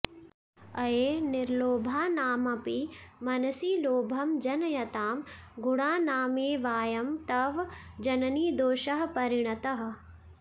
अये निर्लोभानामपि मनसि लोभं जनयतां गुणानामेवायं तव जननि दोषः परिणतः